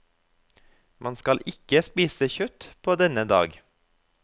Man skal ikke spise kjøtt på denne dag.